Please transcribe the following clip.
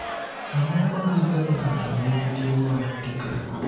Ang’o ma nyiso ni ng’ato nigi tuwo mar Tukel?